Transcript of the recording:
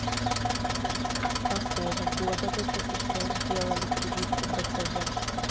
с какого года в ссср делали прививку бцж